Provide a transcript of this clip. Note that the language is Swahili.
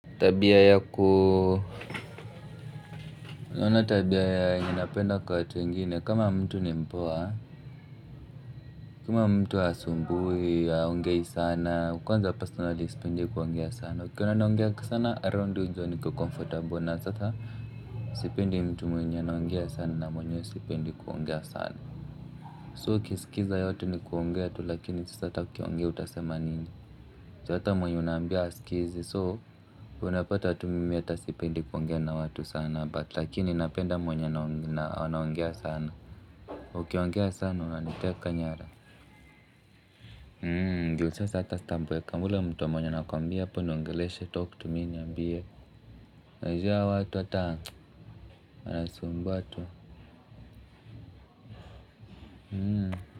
Tabia yaku unaona tabia yenye napenda kwa watu wengine kama mtu ni mpoa. Kama mtu hasumbui haongei sana kwanza personaly sipendi kuongea sana ukiona naongea sana around we jua niko comfortable na sasa. Sipendi mtu mwenye anaongea sana na mwenyewe sipendi kungea sana So ukisikiza yote ni kuongea tu lakini sasa ata ukiongea utasema nini ata mwenye unaambia hasikizi so unapata tu mimi hata sipendi kuongea na watu sana but lakini napenda mwenye anaongea sana. Ukiongea sana unaniteka nyara. Ndio sasa hata staboeka yule mtu mwenye anakwambia hapo niongeleshe talk tu mi niambie na hizia watu ata wanasumbua tu. Hmm.